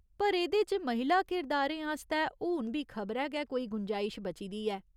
पर एह्दे च महिला किरदारें आस्तै हून बी खबरै गै कोई गुंजाइश बची दी ऐ।